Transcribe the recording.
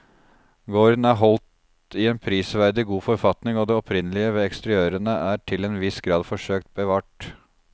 Gården er holdt i en prisverdig god forfatning og det opprinnelige ved eksteriørene er til en viss grad forsøkt bevart.